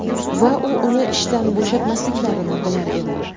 Va u uni ishdan bo‘shatmasliklarini bilar edi.